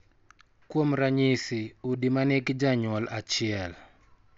Kuom ranyisi, udi ma nigi janyuol achiel,